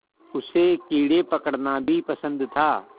उसे कीड़े पकड़ना भी पसंद था